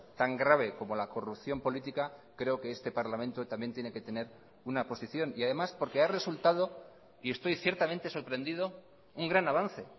tan grave como la corrupción política creo que este parlamento también tiene que tener una posición y además porque ha resultado y estoy ciertamente sorprendido un gran avance